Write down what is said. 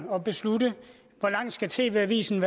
og beslutte hvor lang tid tv avisen